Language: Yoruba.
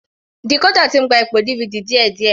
Decorder ti ń gba ipò DVD díẹ̀díẹ̀.